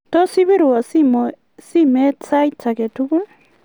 tos ibirwo simet sait age tugul